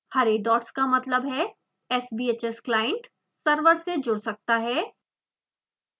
हरे dots का मतलब है कि sbhs client server से जुड़ सकता है